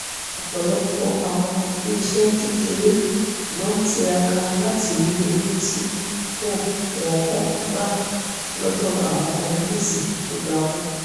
ọ̀pọ̀lọpọ̀ àwọn iléeṣẹ́ kéékèèré ló tiraka láti rí owó tí kò wọ́nwó gbà lọ́dọ̀ àwọn onígbèsè tó gba owó